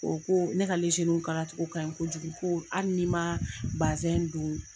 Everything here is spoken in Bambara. O ko ne ka kala cogo ka ɲi kojugu ko hali ni man bazɛn don